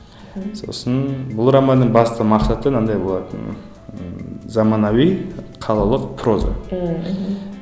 сосын бұл романның басты мақсаты мынандай болатын ммм заманауи қалалық проза ммм мхм